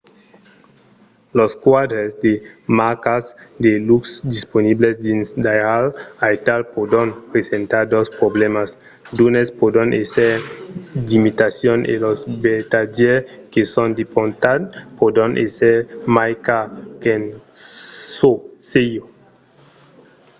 los quadres de marcas de luxe disponibles dins d'airals aital pòdon presentar dos problèmas; d'unes pòdon èsser d'imitacions e los vertadièrs que son importats pòdon èsser mai cars qu'en çò sieu